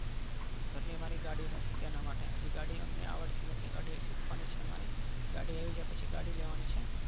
ઘર ની અમારી ગાડી નથી. તેના માટે ગાડી અમને આવડતી નથી. ગાડી સીખવા ની છે મારે ગાડી આવડી જાય પસી ગાડી લેવા ની છે.